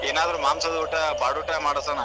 ಏನಾದ್ರ ಮಾಂಸದೂಟ ಬಾಡುಟ ಮಾಡ್ಸಣ.